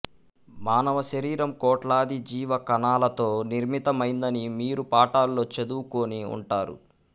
మానవ శరీరం కోట్లాది జీవకణాలతో నిర్మితమైందని మీరు పాఠాల్లో చదువుకుని ఉంటారు